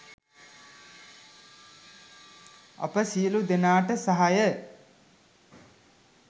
අපි සියලු දෙනාට සහාය